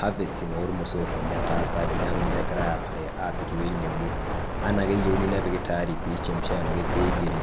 harvesting ormosor ninye etaasaki niaku kajo kegirae aapare apik ewueji nebo enaa kegirae apik pemiri ashu peyieri.